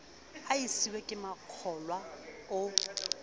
a siuwe ke makgaola o